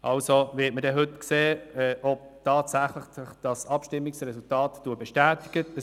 Wir werden heute sehen, ob dieses Abstimmungsresultat bestätigt wird.